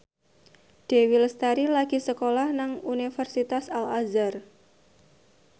Dewi Lestari lagi sekolah nang Universitas Al Azhar